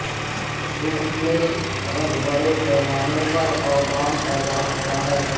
صبح میں رگ بڑے پیمانے پر اور ڈان پیدا ہوتا ہے